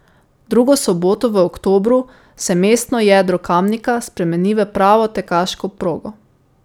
Drugo soboto v oktobru se mestno jedro Kamnika spremeni v pravo tekaško progo.